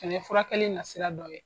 fɛnɛ furakɛli nasira dɔ ye.